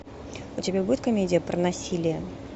у тебя будет комедия про насилие